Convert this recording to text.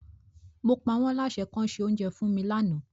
Mo pa wọ́n láṣẹ kọ́ se oúnjẹ fún mi lánàá.